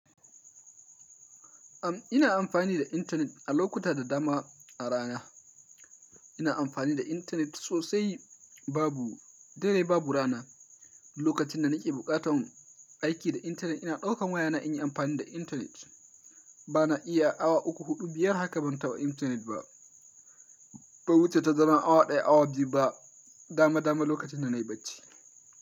Am ina amfani da intanet a lokuta da dama a rana. Ina amfani da intanet sosai babu, dare ba bu rana. Lokacin da na ke buƙatan aiki da intanet ina ɗaukan wayana in yi amfani da intanet. Ba na iya awa uku, huɗu, biyar haka ban taɓa intanet ba. Bai wuce tazaran awa ɗaya, awa biyu ba, dama dama lokacin da na yi bacci.